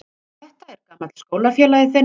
Þetta er gamall skólafélagi þinn.